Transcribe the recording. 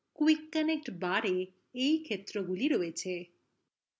quick connect barএ এই ক্ষেত্রগুলি রয়েছে